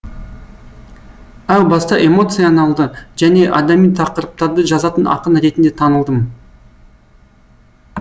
әу баста эмоцияналды және адами тақырыптарды жазатын ақын ретінде танылдым